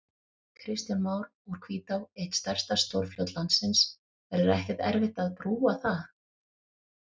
Kristján Már: Úr Hvítá, eitt stærsta stórfljót landsins, verður ekkert erfitt að brúa það?